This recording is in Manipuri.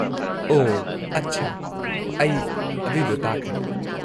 ꯑꯣꯍ, ꯑꯠꯁꯥ, ꯑꯩ ꯑꯗꯨꯢꯗꯣ ꯇꯥꯈ꯭ꯔꯦ꯫